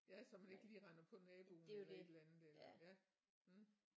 Ja så man ikke lige render på naboen eller et eller andet iggå ja mh